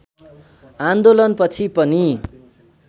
आन्दोलनपछि पनि